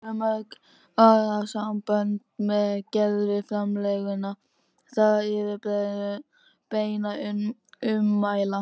Þá hafa mörg orðasambönd með gervifrumlaginu það yfirbragð beinna ummæla